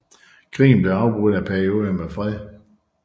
Krigen blev afbrudt af perioder med fred